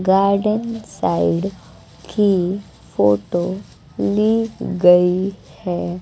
Garden side की photo ली गई है।